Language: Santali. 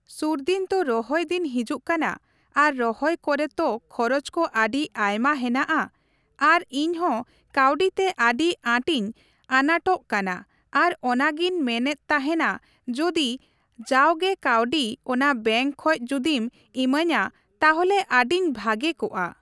ᱥᱩᱨᱫᱤᱱ ᱛᱚ ᱨᱚᱦᱚᱭ ᱫᱤᱱ ᱦᱤᱡᱩᱜ ᱠᱟᱱᱟ ᱟᱫᱚ ᱨᱚᱦᱚᱭ ᱠᱚᱨᱮ ᱛᱚ ᱠᱷᱚᱨᱚᱪ ᱠᱚ ᱟᱹᱰᱤ ᱟᱭᱢᱟ ᱦᱮᱱᱟᱜᱼᱟ, ᱟᱫᱚ ᱤᱧᱦᱚᱸ ᱠᱟᱹᱣᱰᱤ ᱛᱮ ᱟᱹᱰᱤ ᱟᱴ ᱤᱧ ᱟᱱᱟᱴᱚᱜ ᱠᱟᱱᱟ ᱟᱫᱚ ᱚᱱᱟᱜᱤᱧ ᱢᱮᱱᱮᱫ ᱛᱟᱦᱮᱱᱟ ᱡᱩᱫᱤ ᱡᱟᱜᱮ ᱠᱟᱹᱣᱰᱤ ᱚᱱᱟ ᱵᱮᱝᱠ ᱠᱷᱚᱡ ᱡᱩᱫᱤᱢ ᱮᱢᱟᱧᱟ ᱛᱟᱦᱚᱞᱮ ᱟᱹᱰᱤᱧ ᱵᱷᱟᱜᱮ ᱠᱚᱜᱼᱟ ᱾